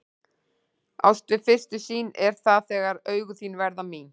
Ást við fyrstu sýn er það þegar augun þín verða mín.